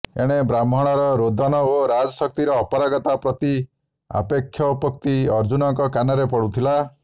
ଏଣେ ବ୍ରାହ୍ମଣର ରୋଦନ ଓ ରାଜ ଶକ୍ତିର ଅପାରଗତା ପ୍ରତି ଆକ୍ଷେପୋକ୍ତି ଅର୍ଜୁନଙ୍କ କାନରେ ପଡୁଥିଲା